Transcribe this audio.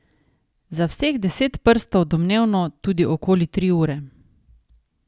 Za vseh deset prstov domnevno tudi okoli tri ure.